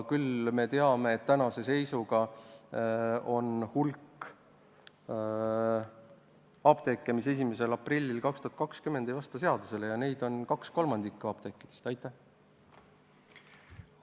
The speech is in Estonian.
Küll aga teame, et tänase seisuga on meil hulk apteeke, mis 1. aprillil 2020 enam seadusele ei vasta, selliseid apteeke on 2/3.